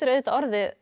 auðvitað orðið